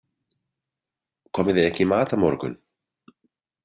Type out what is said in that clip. Komið þið ekki í mat á morgun?